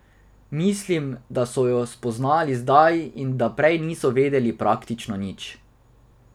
Mislim, da so jo spoznali zdaj in da prej niso vedeli praktično nič.